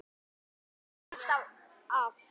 Hann ætlaði sér aldrei af.